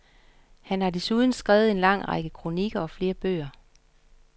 Han har desuden skrevet en lang række kronikker og flere bøger.